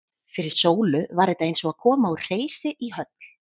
Fyrir Sólu var þetta eins og að koma úr hreysi í höll.